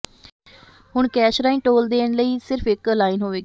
ਹੁਣ ਕੈਸ਼ ਰਾਹੀਂ ਟੋਲ ਦੇਣ ਲਈ ਸਿਰਫ ਇਕ ਲਾਈਨ ਹੋਵੇਗੀ